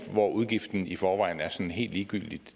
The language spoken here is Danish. hvor udgiften i forvejen er sådan helt ligegyldig